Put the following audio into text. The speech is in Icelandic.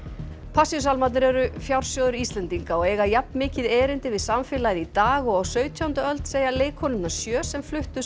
Passíusálmarnir eru fjársjóður Íslendinga og eiga jafn mikið erindi við samfélagið í dag og á sautjándu öld segja leikkonurnar sjö sem fluttu